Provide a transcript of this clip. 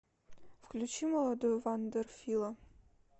включи молодую вандер фила